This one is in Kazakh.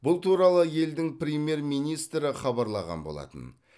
бұл туралы елдің премьер министрі хабарлаған болатын